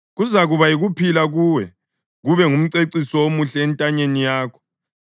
kuzakuba yikuphila kuwe, kube ngumceciso omuhle entanyeni yakho.